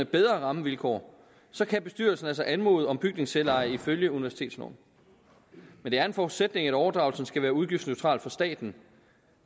bedre rammevilkår så kan bestyrelsen altså anmode om bygningsselveje ifølge universitetsloven men det er en forudsætning at overdragelsen skal være udgiftsneutral for staten